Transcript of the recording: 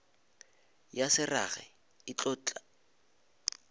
ya se rage e tlo